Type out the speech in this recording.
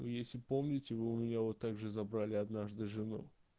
и если помните вы у меня вот так же забрали однажды жену